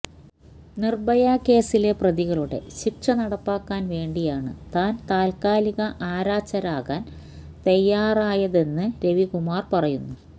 നിർഭയ കേസിലെ പ്രതികളുടെ ശിക്ഷ നടപ്പാക്കാൻ വേണ്ടിയാണ് താൻ താത്കാലിക ആരാച്ചാരാകാൻ തയ്യാറായതെന്ന് രവികുമാർ പറയുന്നു